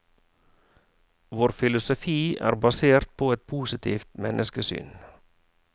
Vår filosofi er basert på et positivt menneskesyn.